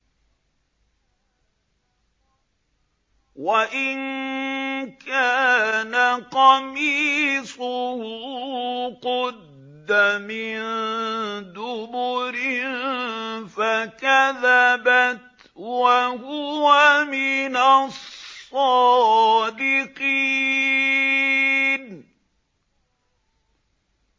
وَإِن كَانَ قَمِيصُهُ قُدَّ مِن دُبُرٍ فَكَذَبَتْ وَهُوَ مِنَ الصَّادِقِينَ